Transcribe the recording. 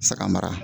Saga mara